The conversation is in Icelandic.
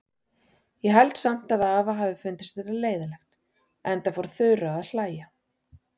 Ég held samt að afa hafi fundist þetta leiðinlegt, enda fór Þura að hlæja.